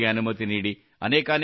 ಅನೇಕಾನೇಕ ಧನ್ಯವಾದ